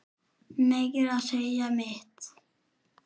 Meira að segja mitt